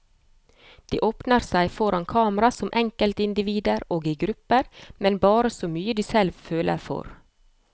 De åpner seg foran kamera som enkeltindivider og i grupper, men bare så mye de selv føler for.